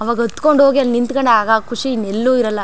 ಆವಾಗ್ ಅತ್ತಕೊಂಡ್ ಹೋಗಿ ಅಲ್ಲಿ ನಿಂತಕೊಂಡಾಗ ಖುಷಿ ಇನ್ನೆಲ್ಲೂ ಇರಲ್ಲಾ.